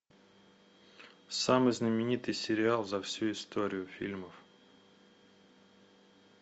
самый знаменитый сериал за всю историю фильмов